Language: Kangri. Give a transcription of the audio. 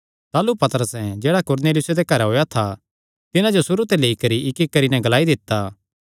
ताह़लू पतरसैं जेह्ड़ा कुरनेलियुसे दे घरैं होएया था तिन्हां जो सुरू ते लेई करी इक्कइक्क करी नैं ग्लाई दित्ता